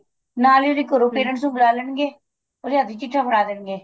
ਨਾਲ ਈ ਉਹਦੇ ਘਰੋ parents ਨੂੰ ਬੁਲਾ ਲੈਣਗੇ ਉਹਦੇ ਹੱਥ ਵਿੱਚ ਚਿੱਠਾ ਫੜਾ ਦੇਣਗੇ